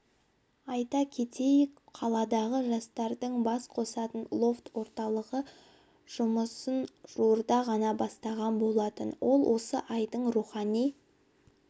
айта кетейік қаладағы жастардың бас қосатын лофт-орталығы жұмысын жуырда ғана бастаған болатын ол осы айдың рухани